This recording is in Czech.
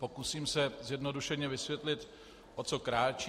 Pokusím se zjednodušeně vysvětlit, o co kráčí.